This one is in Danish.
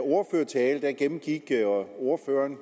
ordførertale gennemgik ordføreren